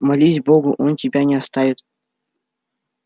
молись богу он тебя не оставит